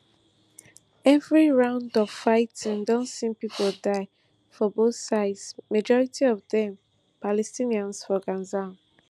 every round of fighting don see pipo die for both sides majority of dem palestinians for gaza